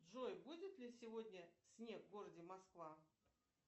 джой будет ли сегодня снег в городе москва